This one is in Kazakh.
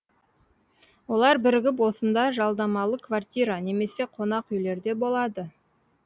олар бірігіп осында жалдамалы квартира немесе қонақүйлерде болады